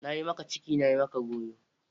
Na yi maka ciki, na yi maka goyo!